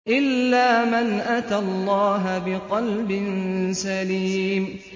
إِلَّا مَنْ أَتَى اللَّهَ بِقَلْبٍ سَلِيمٍ